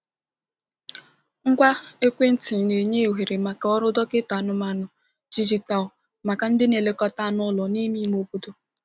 Ngwa ekwentị na-enye ohere maka ọrụ dọkịta anụmanụ dijitalụ maka ndị na-elekọta anụ ụlọ n’ime ime obodo.